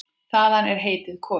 Þaðan er heitið komið.